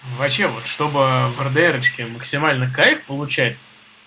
вообще чтобы врадерочки максимально кайф получать